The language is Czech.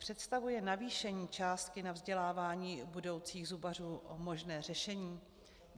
Představuje navýšení částky na vzdělávání budoucích zubařů možné řešení?